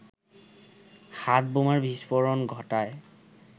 হাতবোমার বিস্ফোরণ ঘটায়